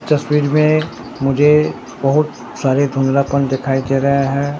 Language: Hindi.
तस्वीर में मुझे बहुत सारे धुंधलापन दिखाई दे रहे है।